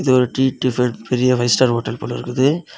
இது ஒரு tea tiffin . பெரிய ஃபைவ் ஸ்டார் ஹோட்டல் போல இருக்குது.